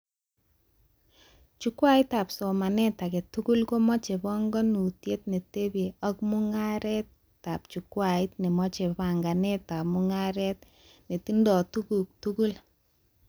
Chukwait ab somanet aketugul komache banganutiet netebche ak mugaretab chukwait nemache banganetab mugaret netingoi tuguk tugul